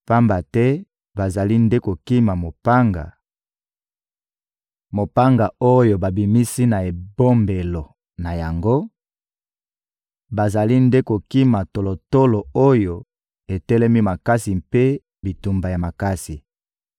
Pamba te bazali nde kokima mopanga, mopanga oyo babimisi na ebombelo na yango, bazali nde kokima tolotolo oyo etelemi makasi mpe bitumba ya makasi.